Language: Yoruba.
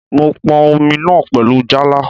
Mò n pọn Omi náà pẹ̀lú Jálá